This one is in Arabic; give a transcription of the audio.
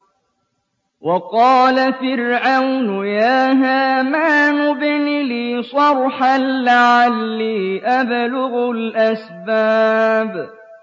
وَقَالَ فِرْعَوْنُ يَا هَامَانُ ابْنِ لِي صَرْحًا لَّعَلِّي أَبْلُغُ الْأَسْبَابَ